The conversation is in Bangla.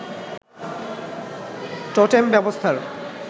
টোটেম ব্যবস্থার